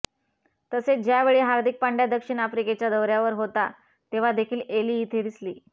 तसेच ज्या वेळी हार्दिक पांड्या दक्षिण आफ्रिकेच्या दौऱ्यावर होता तेव्हा देखील एली तिथे दिसली